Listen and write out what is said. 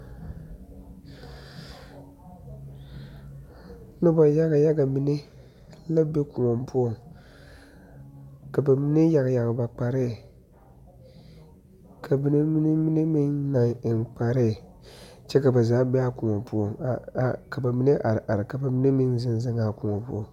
Noba yaga yaga mine la be koɔ poɔ, ka ba mine yage yage ba kpaare, ka mine eŋe kpaare, kyɛ kaa ba zaa be a koɔ poɔ a are are ka ba mine meŋ zeŋ zeŋ a koɔ poɔ.